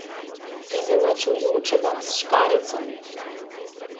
Izenačujočega s škarjicami.